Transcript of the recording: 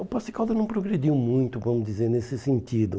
O Poços de Caldas não progrediu muito, vamos dizer, nesse sentido.